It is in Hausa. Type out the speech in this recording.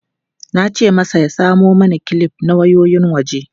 Na ce masa ya samo mana kilif na wayoyin waje.